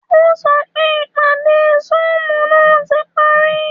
O sọ pé ìpadé zoom ná ti parí